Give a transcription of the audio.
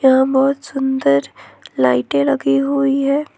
यहां बहुत सुंदर लाइटे लगी हुई है।